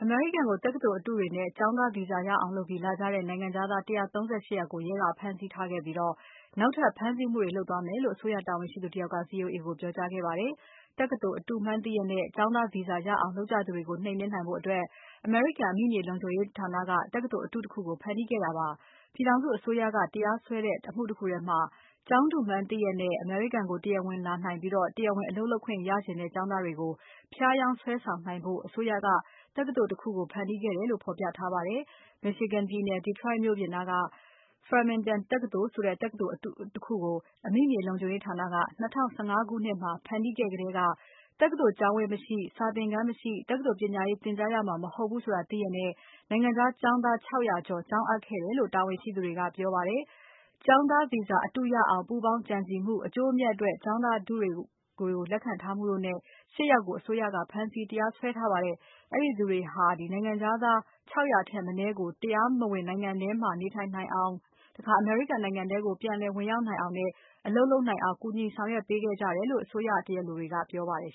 မေရိကန်ကို တက္ကသိုလ်အတုတွေနဲ့ ကျောင်းသား Visa ရအောင်လုပ်ပြီး လာကြတဲ့ နိုင်ငံခြားသား ၁၃၈ ယောက်ကို ရဲကဖမ်းဆီးခဲ့ပြီး နောက်ထပ် ဖမ်းဆီးမှုတွေ လုပ်သွားမယ်လို့ အစိုးရတာဝန်ရှိသူတယောက်က VOA ကိုပြောကြားခဲ့ပါတယ်။ တက္ကသိုလ်အတုမှန်းသိလျက်နဲ့ ကျောင်းသား Visa ရအောင်လုပ်ကြသူတွေကို နှိမ်နှင်းနိုင် ဖို့ အမေရိကန်အမိမြေလုံခြုံရေးဌာနက တက္ကသိုလ်အတုတခုကို ဖန်တီးခဲ့တာပါ။ ပြည် ထောင်စုအစိုးရက တရားစွဲတဲ့ အမှုတခုထဲမှာ ကျောင်းတုမှန်းသိလျက်နဲ့ အမေရိကန်ကို တရားဝင်လာနိုင်ပြီး တရားဝင်အလုပ်လုပ်ခွင့် ရချင်တဲ့ ကျောင်းသားတွေကို ဖြား ယောင်း စွဲဆောင်နိုင်ဖို့ အစိုးရက တက္ကသိုလ်တခုကို ဖန်တီးခဲ့တယ်လို့ ဖော်ပြထားပါတယ်။ Michigan ပြည်နယ် Detroit မြို့ပြင်မှာ Farmington တက္ကသိုလ်ဆိုတဲ့ တက္ကသိုလ်အတု တခုကို အမိမြေလုံခြုံရေးဌာနက ၂၀၁၅ ခုနှစ်မှာ ဖန်တီးခဲ့ကတည်းက တက္ကသိုလ် ကျောင်းဝန်း မရှိ၊ စာသင်ခန်းမရှိ၊ တက္ကသိုလ်ပညာရေးသင်ကြားရမှာ မဟုတ်ဘူးဆိုတာ သိလျက်နဲ့ နိုင်ငံခြားကျောင်းသား ၆၀၀ ကျော် ကျောင်းအပ်ခဲ့ကြတယ်လို့ တာဝန်ရှိ သူတွေက ပြောပါတယ်။ ကျောင်းသား Visa အတုရအောင်ပူးပေါင်းကြံစည်မှု၊ အကျိုးအမြတ်အတွက် ကျောင်းသား တုတွေကို လက်ခံထားမှုတို့နဲ့ ၈ ယောက်ကို အစိုးရက ဖမ်းဆီး တရားစွဲထားပါတယ်။ အဲဒီသူတွေဟာ နိုင်ငံခြားသား ၆၀၀ ထက်မနည်းကို တရားမဝင်နိုင်ငံထဲမှာ နေထိုင်နိုင် အောင်၊ အမေရိကန်နိုင်ငံထဲကို ပြန်လည် ဝင်ရောက်နိုင်အောင်နဲ့ အလုပ်လုပ်နိုင်အောင် ကူညီဆောင်ရွက်ပေးခဲ့ကြတယ်လို့ အစိုးရတရားလိုတွေက ပြောပါတယ်